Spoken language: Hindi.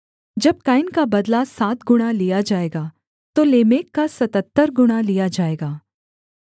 जब कैन का बदला सात गुणा लिया जाएगा तो लेमेक का सतहत्तर गुणा लिया जाएगा